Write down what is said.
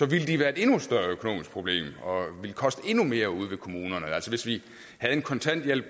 ville de være et endnu større økonomisk problem og ville koste endnu mere ude i kommunerne altså hvis vi havde en kontanthjælp